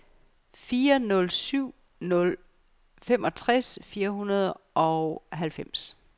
fire nul syv nul femogtres fire hundrede og halvfems